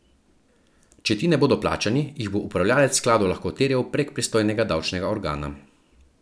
Če ti ne bodo plačani, jih bo upravljavec skladov lahko terjal prek pristojnega davčnega organa.